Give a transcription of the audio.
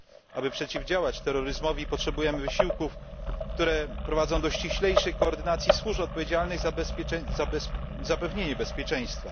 Aby przeciwdziałać terroryzmowi, potrzebujemy wysiłków, które prowadzą do ściślejszej koordynacji służb odpowiedzialnych za zapewnienie bezpieczeństwa.